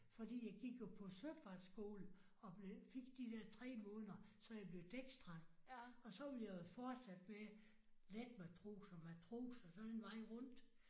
Fordi jeg gik jo på søfartsskolen og blev fik de der tre måneder så jeg blev dæksdreng og så ville jeg jo have fortsat med letmetros og matros og så den vej rundt